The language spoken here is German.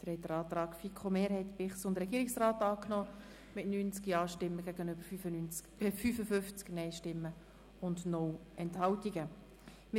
Sie haben den Antrag von FiKo-Mehrheit und Regierungsrat mit 90 Ja- gegen 55 NeinStimmen bei 0 Enthaltungen angenommen.